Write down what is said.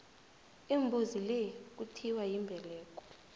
imbuzi le kuthiwa yimbeleko